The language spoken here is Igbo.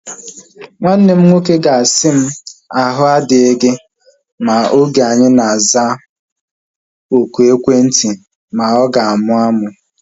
Nwanne m nwoke ga-asị m, ahu adịghị gị mma oge anyi na-aza oku ekwentị ma ọ ga-amụ amụ